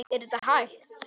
Er þetta hægt?